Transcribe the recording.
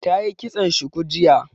Ta yi kitson shuku jiya